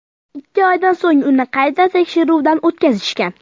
Ikki oydan so‘ng uni qayta tekshiruvdan o‘tkazishgan.